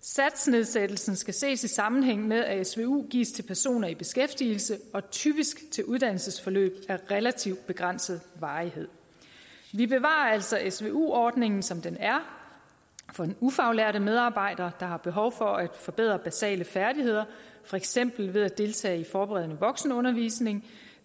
satsnedsættelsen skal ses i sammenhæng med at svu gives til personer i beskæftigelse og typisk til uddannelsesforløb af relativt begrænset varighed vi bevarer altså altså svu ordningen som den er for den ufaglærte medarbejder der har behov for at forbedre basale færdigheder for eksempel ved at deltage i forberedende voksenundervisning